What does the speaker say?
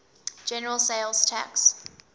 general sales tax